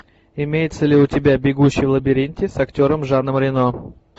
имеется ли у тебя бегущий в лабиринте с актером жаном рено